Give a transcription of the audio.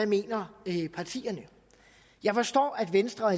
mener jeg forstår at venstre